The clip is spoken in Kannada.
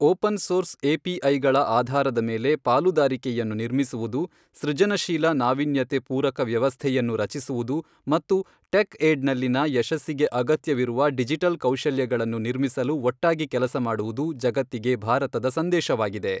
ಓಪನ್ ಸೋರ್ಸ್ ಎಪಿಐಗಳ ಆಧಾರದ ಮೇಲೆ ಪಾಲುದಾರಿಕೆಯನ್ನು ನಿರ್ಮಿಸುವುದು, ಸೃಜನಶೀಲ ನಾವೀನ್ಯತೆ ಪೂರಕ ವ್ಯವಸ್ಥೆಯನ್ನು ರಚಿಸುವುದು ಮತ್ತು ಟೆಕ್ ಏಡ್ ನಲ್ಲಿನ ಯಶಸ್ಸಿಗೆ ಅಗತ್ಯವಿರುವ ಡಿಜಿಟಲ್ ಕೌಶಲ್ಯಗಳನ್ನು ನಿರ್ಮಿಸಲು ಒಟ್ಟಾಗಿ ಕೆಲಸ ಮಾಡುವುದು ಜಗತ್ತಿಗೆ ಭಾರತದ ಸಂದೇಶವಾಗಿದೆ